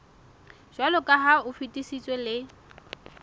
jwaloka ha o fetisitswe le